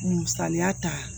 Musaliya ta